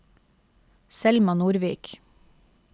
Selma Nordvik